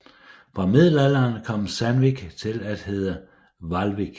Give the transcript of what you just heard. Fra middelalderen kom Sandvík til at hedde Hvalvík